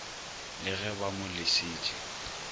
le ge ba mo lesitše